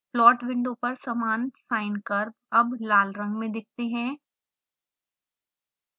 plot window पर समान sine curve अब लाल रंग में दिखते हैं